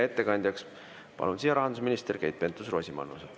Ettekandjaks palun siia rahandusminister Keit Pentus-Rosimannuse.